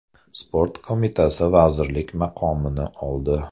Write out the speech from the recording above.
Sport Qo‘mitasi vazirlik maqomini oldi.